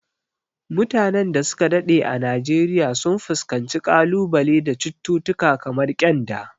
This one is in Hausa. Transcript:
Mutanen da su ka daɗe a Najeriya sun fuskanci kalubale da cututtuka kamar kyanda.